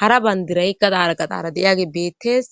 hara bandiray gadara qadaara deyage beettes.